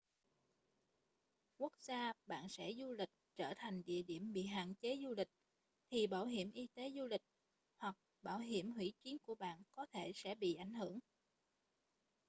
nếu quốc gia bạn sẽ du lịch trở thành địa điểm bị hạn chế du lịch thì bảo hiểm y tế du lịch hoặc bảo hiểm hủy chuyến của bạn có thể sẽ bị ảnh hưởng